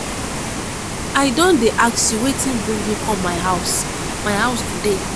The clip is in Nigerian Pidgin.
i don dey ask you wetin bring you come my house my house today.